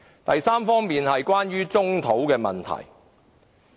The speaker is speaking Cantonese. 第三方面是棕地問題。